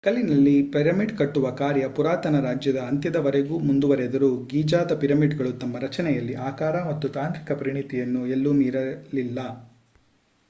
ಕಲ್ಲಿನಲ್ಲಿ ಪಿರಮಿಡ್ ಕಟ್ಟುವ ಕಾರ್ಯ ಪುರಾತನ ರಾಜ್ಯದ ಅಂತ್ಯದವರೆಗೂ ಮುಂದುವರೆದರೂ ಗೀಜಾದ ಪಿರಮಿಡ್‌ಗಳು ತಮ್ಮ ರಚನೆಯಲ್ಲಿ ಆಕಾರ ಮತ್ತು ತಾಂತ್ರಿಕ ಪರಿಣಿತಿಯನ್ನು ಎಲ್ಲೂ ಮೀರಲಿಲ್ಲ